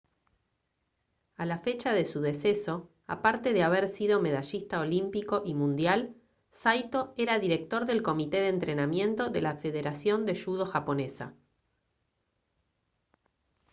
a la fecha de su deceso aparte de haber sido medallista olímpico y mundial saito era director del comité de entrenamiento de la federación de judo japonesa